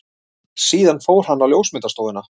Síðan fór hann á ljósmyndastofuna.